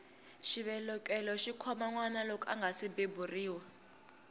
xivelekelo xikhoma nwana loko angasi beburiwa